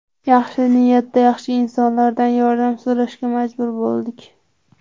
Yaxshi niyatda yaxshi insonlardan yordam so‘rashga majbur bo‘ldik.